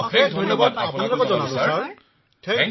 সকলো NCC cadet অশেষ ধন্যবাদ মহাশয় ধন্যবাদ